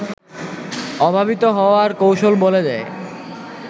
অভাবিত হওয়ার কৌশল বলে দেয়